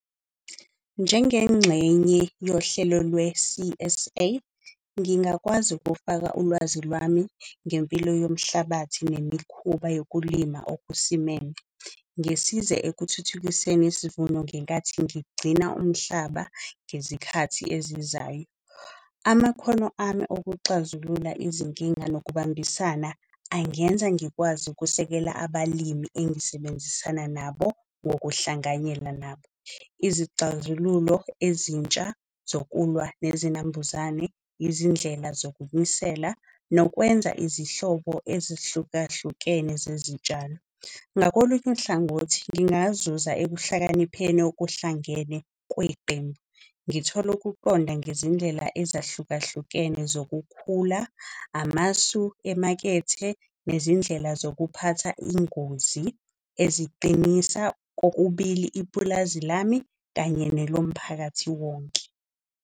Njengengxenye yohlelo lwe-C_S_A ngingakwazi ukufaka ulwazi lwami ngempilo yomhlabathi nemikhuba yokulima okusimeme. Ngisize ekuthuthukiseni isivuno ngenkathi ngigcina umhlaba ngezikhathi ezizayo. Amakhono ami okuxazulula izinkinga nokubambisana angenza ngikwazi ukusekela. Abalimi engisebenzisana nabo ngokuhlanganyela nabo. Izixazululo ezintsha zokulwa nezinambuzane, izindlela zokunisela, nokwenza izihlobo ezihlukahlukene zezitshalo. Ngakolunye uhlangothi, ngingazuza ehlakanipheni okuhlangene kweqembu. Ngithole ukuqonda ngezindlela ezahlukahlukene zokukhula, amasu emakethe. Nezindlela zokuphatha ingozi eziqinisa kokubili ipulazi lami kanye nelomphakathi wonke.